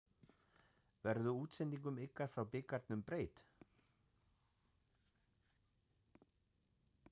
Verður útsendingum ykkar frá bikarnum breytt?